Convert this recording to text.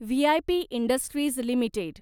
V I P industries limited